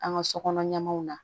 An ka sokɔnɔ ɲɛmɔw na